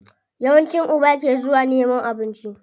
Yawanci uba ke zuwa nemo abinci.